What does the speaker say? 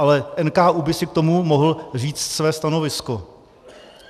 Ale NKÚ by si k tomu mohl říct své stanovisko.